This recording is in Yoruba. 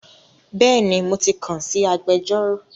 Bẹ́ẹ̀ni mo ti kàn sí agbẹjọ́rò